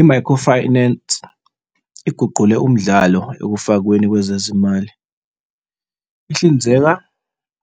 I-microfinance iguqule umdlalo ekufakweni kwezezimali. Ihlinzeka